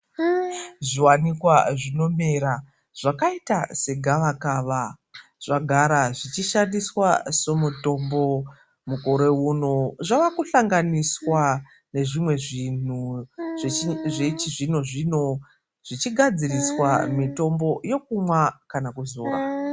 Zvi wanikwa zvinomera zvakaita se gava kava zvagara zvichi shandiswa so mutombo mukore uno zvavaku hlanganiswa nezvimwe zvinhu zvechi zvino zvino zvichi gadziriswa mitombo yekumwa kana kuzora.